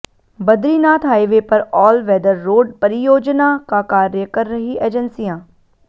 Badrinath highway पर all weather road परियोजना का कार्य कर रही एजेंसियां